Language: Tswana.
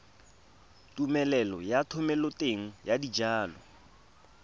tumelelo ya thomeloteng ya dijalo